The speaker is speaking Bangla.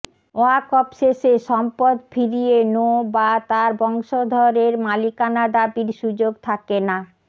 ওয়াকফ শেষে সম্পদ ফিরিয়ে নো বা তার বংশধর এর মালিকানা দাবির সুযোগ থাকে না